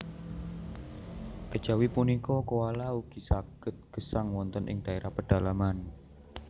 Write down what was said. Kejawi punika koala ugi saged gesang wonten ing dhaérah pedalaman